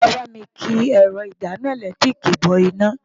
Wàá bá mi ki ẹ̀rọ ìdáná ẹ̀lẹ́tíríìkì bọ iná.